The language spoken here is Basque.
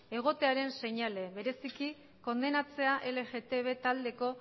egotearen seinale bereziki kondenatzea lgtb taldeko